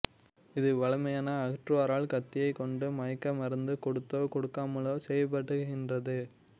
இது வழமையான அகற்றுவோரால் கத்தியைக் கொண்டு மயக்க மருந்து கொடுத்தோ கொடுக்காமலோ செய்யப்படுகின்றது